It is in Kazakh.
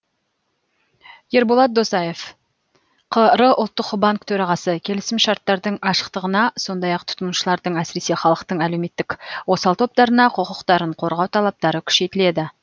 ерболат досаев қр ұлттық банк төрағасы келісімшарттардың ашықтығына сондай ақ тұтынушылардың әсіресе халықтың әлеуметтік осал топтарына құқықтарын қорғау талаптары күшейтіледі